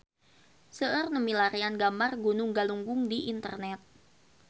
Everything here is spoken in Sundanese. Seueur nu milarian gambar Gunung Galunggung di internet